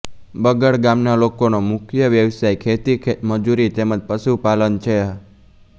બગડ ગામના લોકોનો મુખ્ય વ્યવસાય ખેતી ખેતમજૂરી તેમ જ પશુપાલન છે